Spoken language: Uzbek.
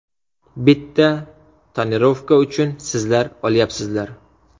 Bitta tonirovka uchun sizlar olyapsizlar.